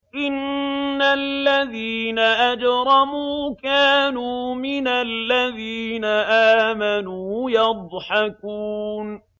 إِنَّ الَّذِينَ أَجْرَمُوا كَانُوا مِنَ الَّذِينَ آمَنُوا يَضْحَكُونَ